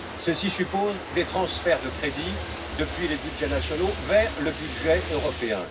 Ceci suppose des transferts de crédits depuis les budgets nationaux vers le budget européen.